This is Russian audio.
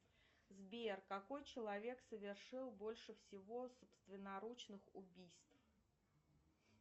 сбер какой человек совершил больше всего собственноручно убийств